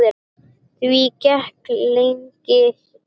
Því gekk lengi.